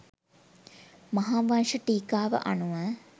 මහාවංශ ටීකාව අනුව